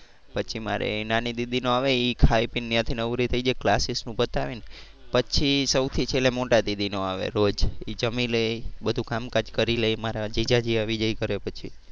પછી મારે નાની દીદી નો આવે એ ખાઈ પી ને ત્યાંથી નવરી થઈ જાય classes નું પતાવી ને પછી સૌથી છેલ્લે મોટા દીદી નો આવે રોજ એ જમી લે બધુ કામકાજ કરી લે મારા જીજાજી આવી જાય ઘરે પછી.